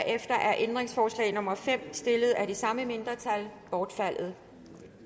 er ændringsforslag nummer fem stillet af det samme mindretal bortfaldet